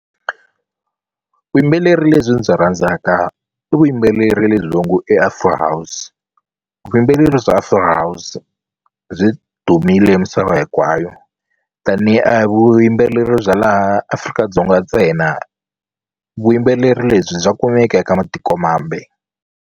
Vuyimbeleri lebyi ndzi byi rhandzaka i vuyimbeleri lebyi va ngo i afro-house vuyimbeleri bya afro-house byi dumile misava hinkwayo tanihi a hi vuyimbeleri bya laha Afrika-Dzonga ntsena vuyimbeleri lebyi bya kumeka eka matikomambe.